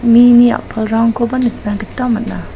mini a·palrangkoba nikna gita man·a.